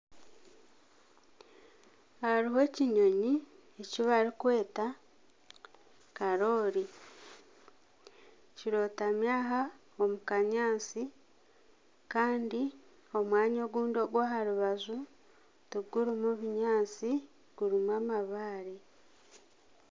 Hariho ekinyonyi eki barikweta karoori kirotami aha omukanyaatsi Kandi omwanya obundi ohwaha rubaju tigurimu bunyaatsi gurimu amabaare .